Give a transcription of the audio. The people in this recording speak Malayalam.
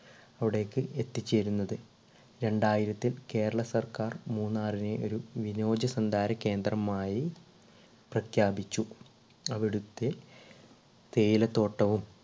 അവിടേക്ക് എത്തി ചേരുന്നത്ത്. രണ്ടായിരത്തിൽ കേരളസർക്കാർ മൂന്നാറിനെ ഒരു വിനോച സഞ്ചാരകേന്ദ്രമായി പ്രഖ്യാപിച്ചു. അവിടത്തെ തേയില തോട്ടവും